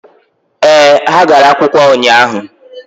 ee, ha gara akwụkwọ ụnyaahụ.